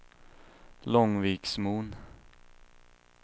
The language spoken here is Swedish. Långviksmon